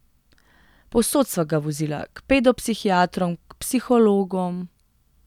Povsod sva ga vozila, k pedopsihiatrom, k psihologom ...